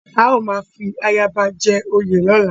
A ó máa fi ayaba jẹ oyè lọ́la.